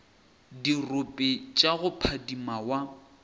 dirope tša go phadima wa